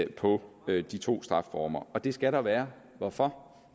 på de to straffeformer og det skal der være hvorfor